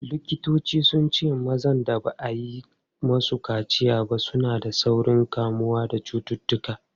Likitoci sun ce mazan da ba a yi musu kaciya suna da saurin kamuwa da cututtuka.